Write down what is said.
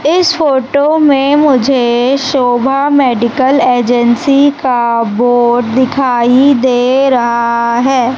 इस फोटो में मुझे शोभा मेडिकल एजेंसी का बोर्ड दिखाई दे रहा है।